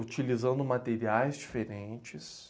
utilizando materiais diferentes.